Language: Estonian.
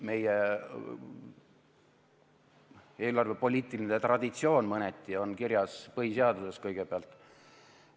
Meie eelarvepoliitiline traditsioon on mõneti kirjas põhiseaduses, seda kõigepealt.